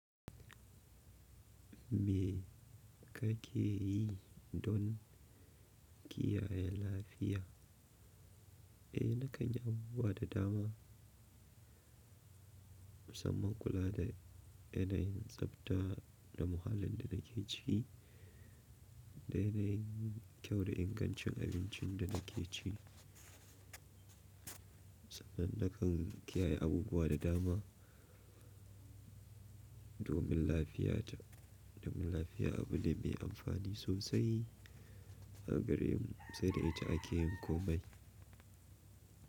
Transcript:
Me ka ke yi don kiyaye lafiya? Eh, na kan yi abubuwa da dama, musamman kula da yanayin tsabta da muhallin da na ke ciki da yanayin kyau da ingancin abincin da na ke ci. Sannan na kan kiyaye abubuwa da dama domin lafiya ta. Domin lafiya abu ne mai amfani sosai a gare mu, sai da ita ake yin komai.